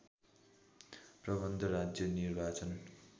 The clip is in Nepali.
प्रबन्ध राज्य निर्वाचन